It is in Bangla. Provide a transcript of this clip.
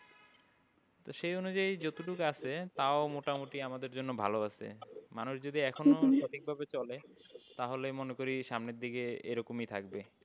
তো সেই অনুযায়ী যতটুকু আছে তাও মোটামুটি আমাদের জন্য ভালো আছে। মানুষ যদি এখনো সঠিকভাবে চলে তাহলে মনে করি সামনের দিকে এরকমই থাকবে।